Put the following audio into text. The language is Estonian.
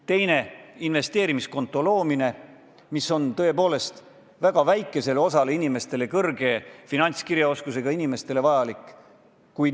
Teiseks, investeerimiskonto loomine, mis on tõepoolest vajalik väga väikesele osale inimestest, kelle finantskirjaoskus on väga hea.